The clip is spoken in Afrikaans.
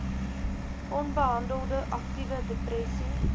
onbehandelde aktiewe depressie